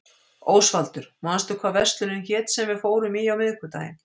Ósvaldur, manstu hvað verslunin hét sem við fórum í á miðvikudaginn?